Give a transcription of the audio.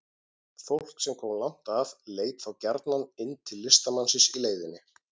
Fólk sem kom langt að leit þá gjarnan inn til listamannsins í leiðinni.